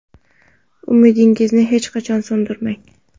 Umidingizni hech qachon so‘ndirmang!